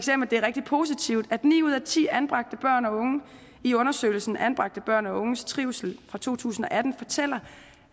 det er rigtig positivt at ni ud af ti anbragte børn og unge i undersøgelsen anbragte børn og unges trivsel to tusind og atten fortæller